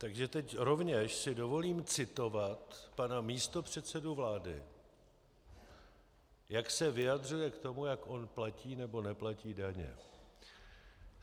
Takže teď rovněž si dovolím citovat pana místopředsedu vlády, jak se vyjadřuje k tomu, jak on platí nebo neplatí daně.